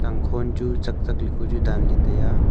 Tangkhon chu chakchak le ku chu danley taiya.